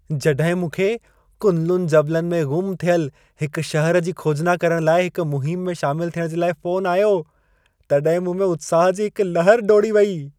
जॾहिं मूंखे कुनलुन जबलनि में ग़ुम थियल हिक शहर जी खोजना करण लाइ हिक मुहिम में शामिल थियण जे लाइ फ़ोनु आयो, तॾहिं मूं में उत्साह जी हिक लहर डोड़ी वेई।